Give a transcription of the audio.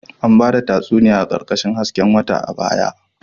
An ba da tatsuniyoyi a ƙarƙashin hasken wata a baya